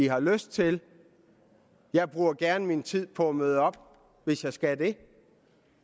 har lyst til jeg bruger gerne min tid på at møde op hvis jeg skal det